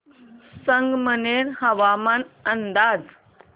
संगमनेर हवामान अंदाज